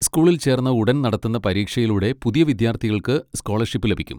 സ്കൂളിൽ ചേർന്ന ഉടൻ നടത്തുന്ന പരീക്ഷയിലൂടെ പുതിയ വിദ്യാർത്ഥികൾക്ക് സ്കോളർഷിപ്പ് ലഭിക്കും.